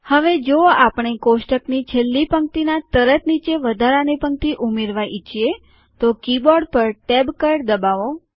હવે જો આપણે કોષ્ટકની છેલ્લી પંક્તિનાં તરત નીચે વધારાની પંક્તિ ઉમેરવા ઈચ્છીએ તો કીબોર્ડ ઉપર ટૅબ કળ દબાવો